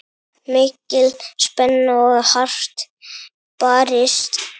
Mikil spenna og hart barist.